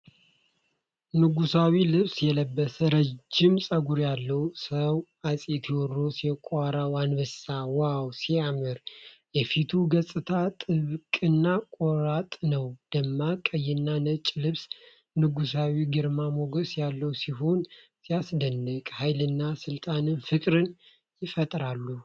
ንጉሣዊ ልብስ የለበሰ፣ ረጅም ፀጉር ያለው ሰው አጼ ቴዎድሮስ የቋራው አንበሳ!! ዋው ሲያምር። የፊቱ ገፅታ ጥብቅና ቆራጥ ነው። ደማቅ ቀይና ነጭ ልብሱ ንጉሣዊ ግርማ ሞገስ ያለው ሲሆን ሲያስደንቅ። ኃይልና ሥልጣን ፍቅርን ይፈጥራሉ።